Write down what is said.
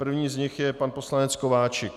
Prvním z nich je pan poslanec Kováčik.